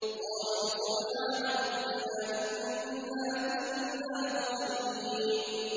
قَالُوا سُبْحَانَ رَبِّنَا إِنَّا كُنَّا ظَالِمِينَ